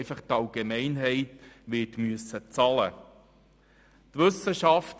Die Allgemeinheit wird diese einfach bezahlen müssen.